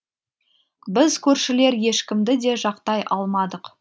біз көршілер ешкімді де жақтай алмадық